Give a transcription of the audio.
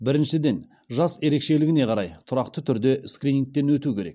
біріншіден жас ерекшелігіне қарай тұрақты түрде скринигтен өту керек